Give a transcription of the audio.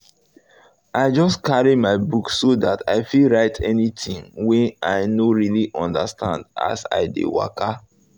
i just carry my book so that i fit write anything wey i no really understand as i dey waka